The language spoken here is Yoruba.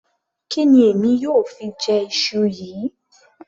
Kí ni èmi yóò fi jẹ iṣu yìí